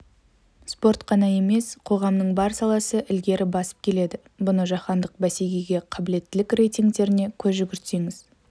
спорт қана емес қоғамның бар саласы ілгері басып келеді бұны жаһандық бәсекеге қабілеттілік рейтингтеріне көз жүгіртсеңіз